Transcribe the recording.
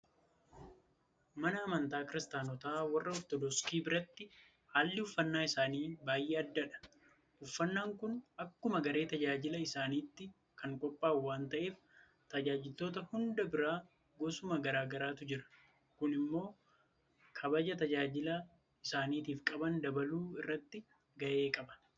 Mana amantaa kiristaanotaa warra Ortodoksii biratti haalli uffannaa isaanii baay'ee addadha. Uffannaan kun akkuma garee tajaajila isaaniitti kan qophaa'u waanta ta'eef tajaajiltoota hunda bira goosuma garaa garaatu jira. Kun immoo kabaja tajaajila isaaniitiif qaban dabaluu irrattis gahee qaba.